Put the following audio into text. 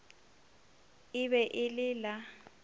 e be e le la